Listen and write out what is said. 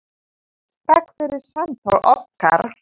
Takk fyrir samtöl okkar.